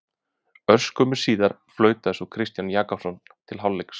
Örskömmu síðar flautaði svo Kristinn Jakobsson til hálfleiks.